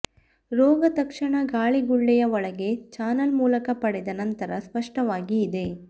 ರೋಗ ತಕ್ಷಣ ಗಾಳಿಗುಳ್ಳೆಯ ಒಳಗೆ ಚಾನಲ್ ಮೂಲಕ ಪಡೆದ ನಂತರ ಸ್ಪಷ್ಟವಾಗಿ ಇದೆ